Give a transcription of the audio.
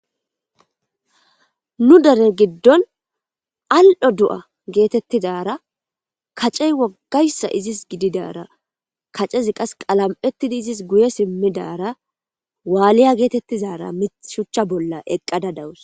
nu dere giddon al'o do'a geetettizara kacey woggayssa izis gididara kacezi qas qalam'ettidi izis guye simmidara waaliya geetettizara mit shuchcha bolla eqqada dawus